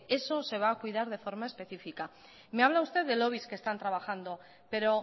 eso se va a cuidar de forma específica me habla usted de lobbies que están trabajando pero